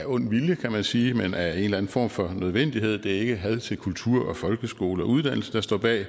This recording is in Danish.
ond vilje kan man sige men af en eller anden form for nødvendighed det er ikke had til kultur og folkeskole og uddannelse der står bag